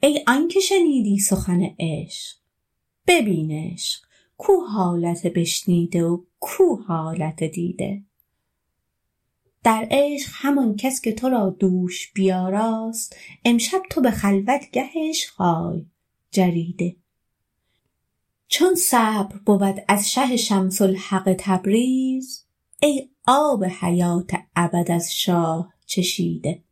ای آنک شنیدی سخن عشق ببین عشق کو حالت بشنیده و کو حالت دیده در عشق همان کس که تو را دوش بیاراست امشب تو به خلوتگه عشق آی جریده چون صبر بود از شه شمس الحق تبریز ای آب حیات ابد از شاه چشیده